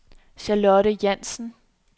Charlotte Jansen